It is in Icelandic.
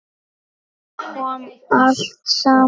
Þá kom allt saman.